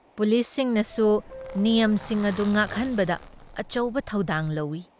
ꯄꯨꯂꯤꯁꯅꯕꯨ ꯅꯤꯌꯝꯁꯤꯡ ꯑꯗꯨ ꯉꯥꯛꯍꯟꯕꯗ ꯑꯆꯧꯕ ꯊꯧꯗꯥꯡ ꯂꯧꯏ ꯫